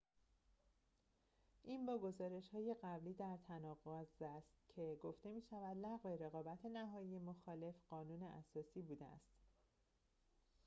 این با گزارش‌های قبلی در تناقض است که گفته می‌شود لغو رقابت نهایی مخالف قانون اساسی بوده است